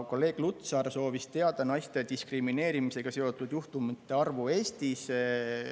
Kolleeg Lutsar soovis teada naiste diskrimineerimisega seotud juhtumite arvu Eestis.